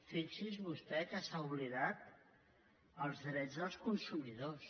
fixi’s vostè que s’ha oblidat dels drets dels consumidors